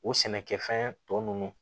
O sɛnɛkɛfɛn tɔ ninnu